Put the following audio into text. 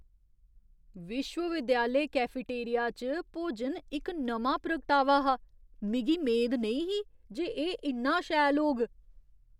विश्वविद्यालय कैफेटेरिया च भोजन इक नमां प्रगटावा हा। मिगी मेद नेईं ही जे एह् इन्ना शैल होग।